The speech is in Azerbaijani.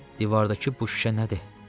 Divardakı bu şüşə nədir?